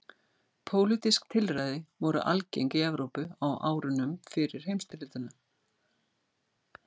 Pólitísk tilræði voru algeng í Evrópu á árunum fyrir heimsstyrjöldina.